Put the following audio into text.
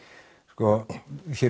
sko hér